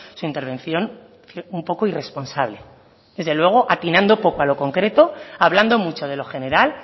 su intervención un poco irresponsable desde luego atinando poco a lo concreto hablando mucho de lo general